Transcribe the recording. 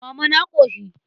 Mama na ƙoshi.